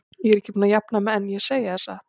Ég er ekki búin að jafna mig enn, ég segi það satt.